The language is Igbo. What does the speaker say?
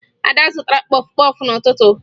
Ada zụtara kpọfụ kpọfụ n'ụtụtụ